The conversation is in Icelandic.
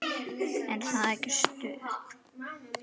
Er það ekki stuð?